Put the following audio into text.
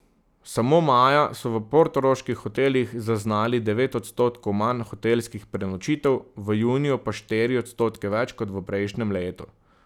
Samo maja so v portoroških hotelih zaznali devet odstotkov manj hotelskih prenočitev, v juniju pa štiri odstotke več kot v prejšnjem letu.